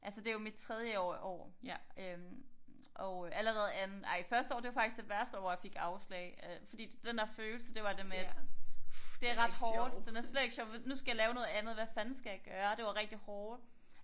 Altså det jo mit tredje år i år øh og allerede anden ej første år det var faktisk det værste år hvor jeg fik afslag fordi den dér følelse det var det med det er ret hårdt den er slet ikke sjov men nu skal jeg lave noget andet hvad fanden skal jeg gøre det var rigtig hårdt